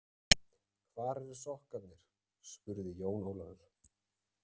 Hvar eru sokkarnir spurði Jón Ólafur.